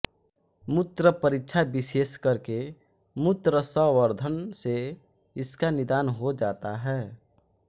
मूत्र परीक्षा विशेष करके मूत्र संवर्धन से इसका निदान हो जाता है